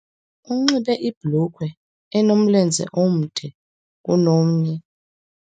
Unxibe ibhulukhwe enomlenze omde kunomnye